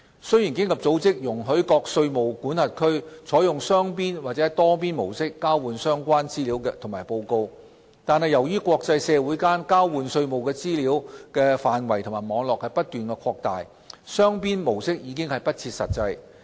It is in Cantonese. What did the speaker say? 雖然經合組織容許各稅務管轄區採用雙邊或多邊模式交換相關資料及報告，但由於國際社會間交換稅務資料的範圍及網絡不斷擴大，雙邊模式已不切實際。